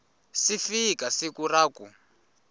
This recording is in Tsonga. si fika siku ra ku